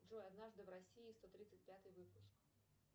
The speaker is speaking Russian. джой однажды в россии сто тридцать пятый выпуск